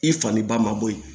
I faniba ma bɔ yen